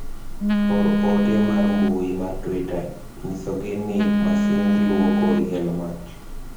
or ote mar mbui mar twita nyisogi ni amsind luoko liel mach